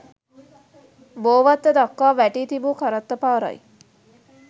බෝවත්ත දක්වා වැටී තිබූ කරත්ත පාරයි.